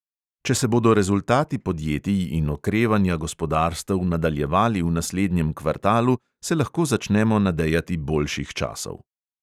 Če se bodo rezultati podjetij in okrevanja gospodarstev nadaljevali v naslednjem kvartalu, se lahko začnemo nadejati boljših časov.